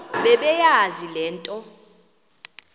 bebeyazi le nto